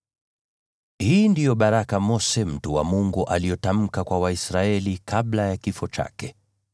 Hii ndiyo baraka Mose mtu wa Mungu aliyotamka kwa Waisraeli kabla ya kifo chake.